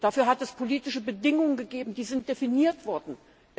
Dafür hat es politische Bedingungen gegeben, die definiert worden sind.